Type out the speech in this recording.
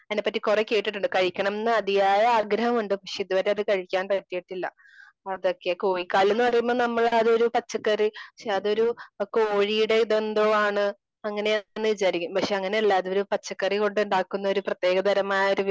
അതിനെപറ്റി കുറെ കേട്ടിട്ടുണ്ട്. കഴിക്കണം എന്ന് അതിയായ ആഗ്രഹം ഉണ്ട്. പക്ഷേ ഇത് വരെ അത് കഴിക്കാൻ പറ്റിയിട്ടില്ല. അതൊക്കെ കോഴിക്കാല് എന്ന് പറയുമ്പോ നമ്മള് ഒരു പച്ചക്കറി അതൊരു കോഴിയുടേത് എന്തോ ആണ് അങ്ങനെയാണ് എന്ന് വിചാരിക്കും. പക്ഷേ അങ്ങനെയല്ല അതൊരു പച്ചക്കറി കൊണ്ടുണ്ടാക്കുന്ന ഒരു പ്രത്യേക താരമായ ഒരു വിഭ